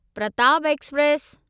Pratap express